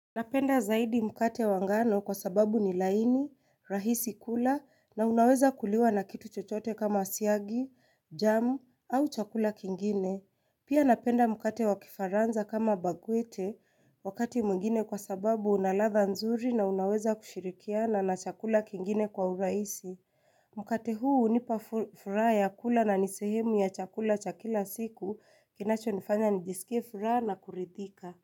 Napenda zaidi mkate wa ngano kwa sababu ni laini, rahisi kula na unaweza kuliwa na kitu chochote kama siagi, jamu au chakula kingine. Pia napenda mkate wa kifaranza kama bagwite wakati mwingine kwa sababu unaladha nzuri na unaweza kushirikiana na chakula kingine kwa urahisi. Mkate huu hunipa furaha ya kula na ni sehemu ya chakula cha kila siku kinacho nifanya nijisikie furaha na kuridhika.